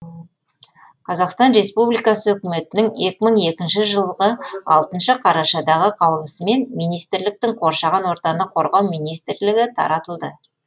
қазақстан республикасы үкіметінің екі мың екінші жылы алтыншы қарашадағы қаулысымен министрліктің қоршаған ортаны қорғау министрлігі таратылды